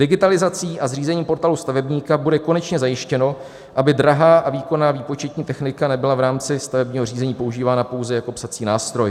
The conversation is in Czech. Digitalizací a zřízením Portálu stavebníka bude konečně zajištěno, aby drahá a výkonná výpočetní technika nebyla v rámci stavebního řízení používána pouze jako psací nástroj.